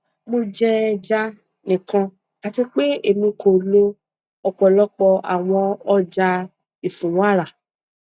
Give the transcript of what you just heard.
mo jẹ ẹja nikan ati pe emi ko lo ọpọlọpọ awọn ọja ifunwara